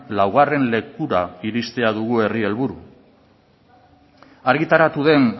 laugarren lekura iristea dugu herri helburu argitaratu den